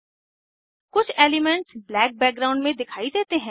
कुछ elements black background में दिखाई देते हैं